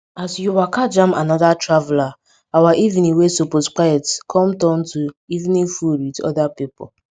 as we waka jam anoda traveller our evening wey supose quiet com turn to evening food with other pipo